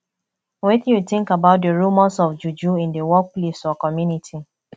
wetin you think about di remors of juju in di workplace or community